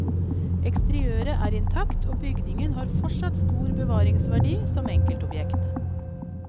Eksteriøret er intakt og bygningen har fortsatt stor bevaringsverdi som enkeltobjekt.